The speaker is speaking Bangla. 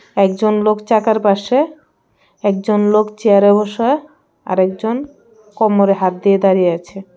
একজন লোক চাকার পাশে একজন লোক চেয়ারে বসে আরেকজন কোমরে হাত দিয়ে দাঁড়িয়ে আছে .